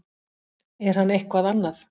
er hann eitthvað annað